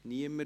– Niemand.